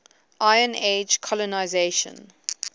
iron age colonisation